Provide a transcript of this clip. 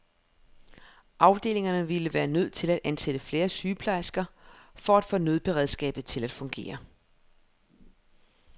Afdelingerne ville være nødt til at ansætte flere sygeplejersker for at få nødberedskabet til at fungere.